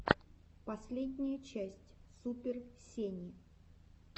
последняя часть супер сени